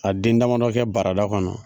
A den damadɔ kɛ barada kɔnɔ.